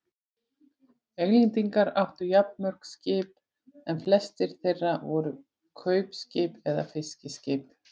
Englendingar áttu jafnmörg skip en flest þeirra voru kaupskip eða fiskiskip.